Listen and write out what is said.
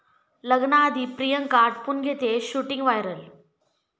लग्नाआधी प्रियांका आटपून घेतेय shooting, viral